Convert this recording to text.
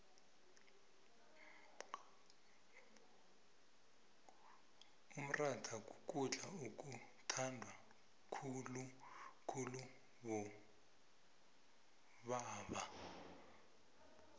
umrhatha kukudla okuthandwa khuulubobeba